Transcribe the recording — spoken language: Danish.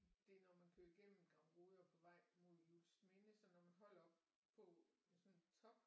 Det er når man kører igennem Gramrode og på vej mod Juelsminde så når man holder oppe på sådan en top